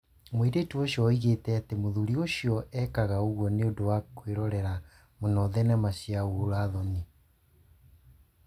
Mũirĩtu ũcio oigire atĩ mũthuri ũcio eekaga ũguo nĩ ũndũ wa kwĩrorera mũno thenema cia ũũra-thoni.